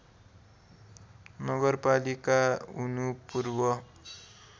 नगरपालिका हुनु पूर्व